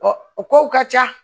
o kow ka ca